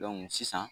sisan